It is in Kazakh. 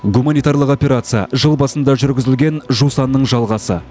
гуманитарлық операция жыл басында жүргізілген жусанның жалғасы